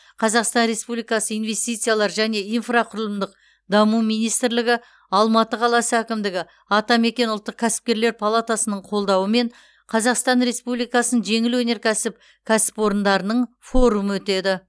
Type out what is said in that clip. қазақстан республикасы инвестициялар және инфрақұрылымдық даму министрлігі алматы қаласы әкімдігі атамекен ұлттық кәсіпкерлер палатасының қолдауымен қазақстан республикасының жеңіл өнеркәсіп кәсіпорындарының форумы өтеді